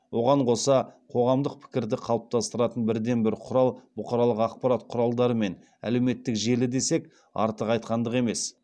оған қоса қоғамдық пікірді қалыптастыратын бірден бір құрал бұқаралық ақпарат құралдары мен әлеуметтік желі десек артық айтқандық емес